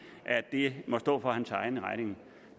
at det må stå for hans egen regning